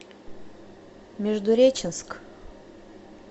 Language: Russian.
междуреченск